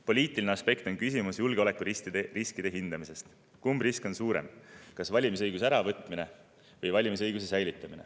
Poliitiline aspekt on küsimus julgeolekuriskide hindamisest: kumb risk on suurem, kas valimisõiguse äravõtmine või valimisõiguse säilitamine.